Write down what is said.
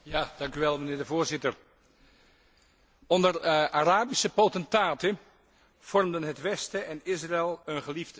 Voorzitter, onder Arabische potentaten vormden het westen en Israël een geliefd mikpunt.